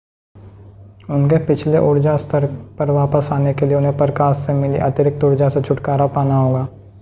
उनके पिछले ऊर्जा स्तर पर वापस आने के लिए उन्हें प्रकाश से मिली अतिरिक्त ऊर्जा से छुटकारा पाना होगा